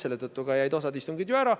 Selle tõttu ka jäi osa istungeid ju ära.